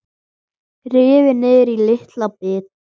Rifin niður í litla bita.